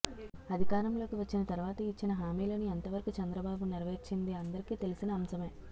అధికారంలోకి వచ్చిన తర్వాత ఇచ్చిన హామీలను ఎంత వరకు చంద్రబాబు నెరవేర్చింది అందరికీ తెలిసిన అంశమే